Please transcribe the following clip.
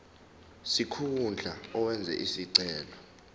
sikhundla owenze isicelo